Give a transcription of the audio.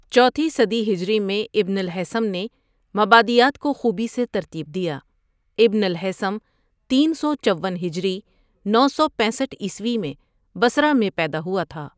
چوتھی صدی ہجری میں ابن الہیثم نے مبادیات کو خوبی سے ترتیب دیا ابن الہیثم تین سو چون ہجری نو سو پینسٹھ عیسوی میں بصرہ میں پیدا ہوا تھا ۔